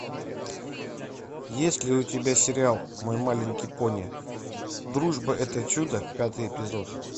есть ли у тебя сериал мой маленький пони дружба это чудо пятый эпизод